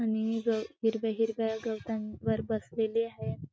आणि हे घर हिरव्या हिरव्या गवतांवर बसलेले हाये.